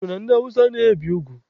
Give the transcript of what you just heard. E kwuru na ndị Awụsa anaghị ebi ugwu.